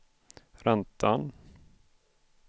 räntan